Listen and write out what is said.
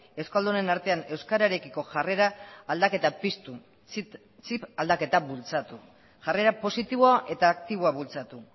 euskaldunen artea euskararekiko jarrera piztu txip aldaketa bultzatu jarrera positiboa eta aktiboa bultzatu